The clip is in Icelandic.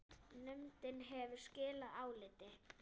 Nefndin hefur skilað áliti.